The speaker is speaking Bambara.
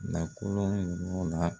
Na kɔlɔn ɲɔgɔn na.